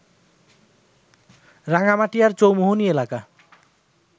রাঙ্গামাটিয়ার চৌমুহনী এলাকা